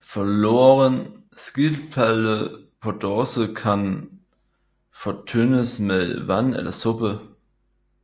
Forloren skildpadde på dåse kan fortyndes med vand eller suppe